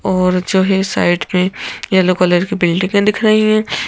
और जो है साइड में येलो कलर की बिल्डिंगें दिख रही है।